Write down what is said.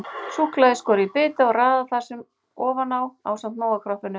Súkkulaðið er skorið í smáa bita og raðað þar ofan á ásamt Nóa-kroppinu.